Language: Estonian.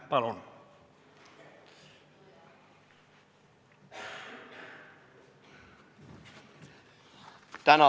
Palun!